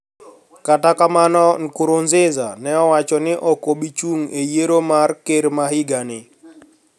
Kata kamano Nkurunziza ne owacho ni ok obichung e yiero mar ker ma higa ni